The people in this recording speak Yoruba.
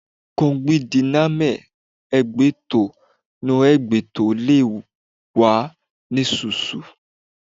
Kọgbidinamẹ hagbẹ tọn nọ hẹn gbẹtọ lẹ wà nususu